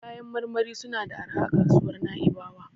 Kayan marmari suna da arha a kasuwar Na'ibawa.